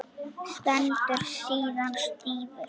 Stendur síðan stífur.